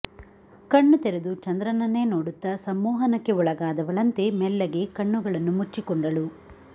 ಕಣ್ಣು ತೆರೆದು ಚಂದ್ರನನ್ನೇ ನೋಡುತ್ತಾ ಸಮ್ಮೋಹನಕ್ಕೆ ಒಳಗಾದವಳಂತೆ ಮೆಲ್ಲಗೆ ಕಣ್ಣುಗಳನ್ನು ಮುಚ್ಚಿಕೊಂಡಳು